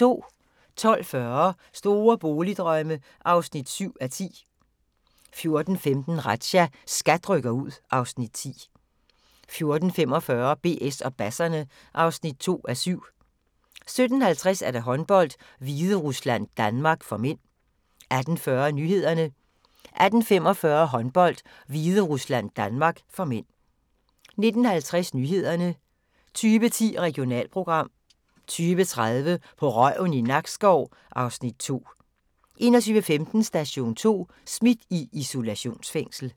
12:40: Store boligdrømme (7:10) 14:15: Razzia – SKAT rykker ud (Afs. 10) 14:45: BS og basserne (2:7) 17:50: Håndbold: Hviderusland-Danmark (m) 18:40: Nyhederne 18:45: Håndbold: Hviderusland-Danmark (m) 19:50: Nyhederne 20:10: Regionalprogram 20:30: På røven i Nakskov (Afs. 2) 21:15: Station 2: Smidt i isolationsfængsel